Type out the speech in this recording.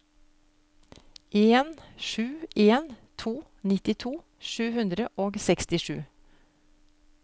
en sju en to nittito sju hundre og sekstisju